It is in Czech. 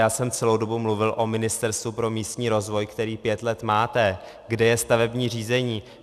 Já jsem celou dobu mluvil o Ministerstvu pro místní rozvoj, které pět let máte, kde je stavební řízení.